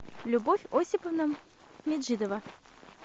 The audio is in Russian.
любовь осиповна меджидова